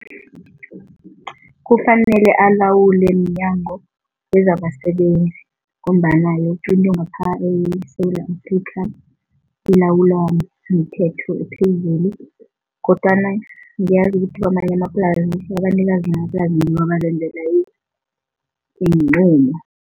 Kufanele alawule mNyango wezabaSebenzi ngombana yoke into ngapha eSewula Afrika ilawulwa mthetho ophezulu kodwana ngiyazi ukuthi kamanye amaplasi abanikazi iinqumo.